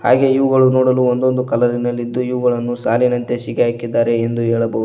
ಹಾಗೆ ಇವುಗಳು ನೋಡಲು ಒಂದ್ ಒಂದು ಕಲರ್ ನಲ್ಲಿದು ಇವುಗಳನ್ನು ಸಾಲಿನಂತೆ ಶಿಗೆ ಹಾಕಿದ್ದಾರೆ ಎಂದು ಹೇಳಬಹುದು.